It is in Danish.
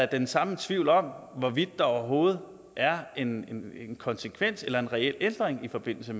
den samme tvivl om hvorvidt der overhovedet er en konsekvens eller en reel ændring i forbindelse